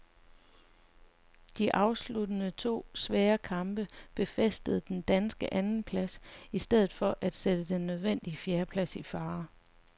De afsluttende to svære kamp befæstede den danske andenplads i stedet for at sætte den nødvendige fjerdeplads i fare.